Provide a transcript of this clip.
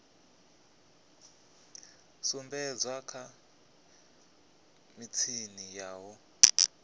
sumbedzwa kha mitshini ya u